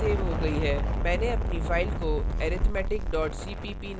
मैंने अपनी file को arithmetic cpp नाम से सेव किया है